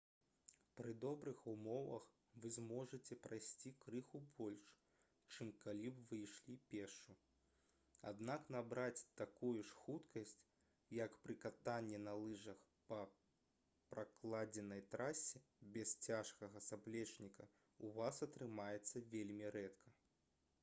пры добрых умовах вы зможаце прайсці крыху больш чым калі б вы ішлі пешшу аднак набраць такую ж хуткасць як пры катанні на лыжах па пракладзенай трасе без цяжкага заплечніка ў вас атрымаецца вельмі рэдка